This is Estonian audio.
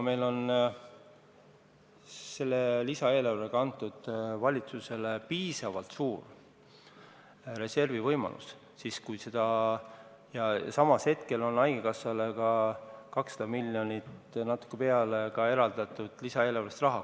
Meil on lisaeelarvega antud valitsusele piisavalt suure reservi võimalus ja samas on haigekassale lisaeelarvega eraldatud 200 miljonit ja natuke peale.